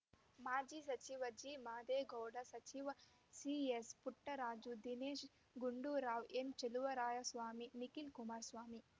ಮಾಜಿ ಸಚಿವ ಜಿಮಾದೇಗೌಡ ಸಚಿವ ಸಿಎಸ್‌ಪುಟ್ಟರಾಜು ದಿನೇಶ್‌ ಗುಂಡೂರಾವ್‌ ಎನ್‌ ಚಲುವರಾಯಸ್ವಾಮಿ ನಿಖಿಲ್‌ ಕುಮಾರಸ್ವಾಮಿ